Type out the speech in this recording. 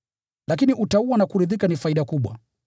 Lakini utauwa na kuridhika ni faida kubwa.